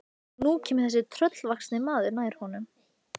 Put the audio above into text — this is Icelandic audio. Vermundur, hvað heitir þú fullu nafni?